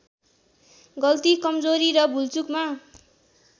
गल्ती कम्जोरी र भुलचुकमा